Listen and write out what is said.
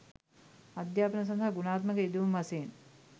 අධ්‍යාපන සඳහා ගුණාත්මක යෙදවුම් වශයෙන්